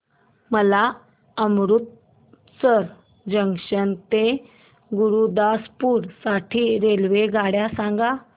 मला अमृतसर जंक्शन ते गुरुदासपुर साठी रेल्वेगाड्या सांगा